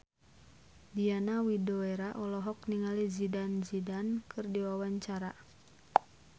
Diana Widoera olohok ningali Zidane Zidane keur diwawancara